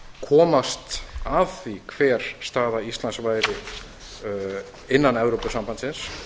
komast að því hver staða íslands væri innan evrópusambandsins